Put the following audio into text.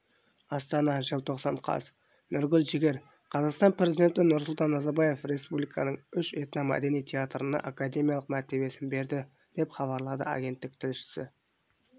астана желтоқсан қаз нұргүл жігер қазақстан президенті нұрсұлтан назарбаев республиканың үш этномәдени театрына академиялық мәртебесін берді деп хабарлады агенттік тілшісі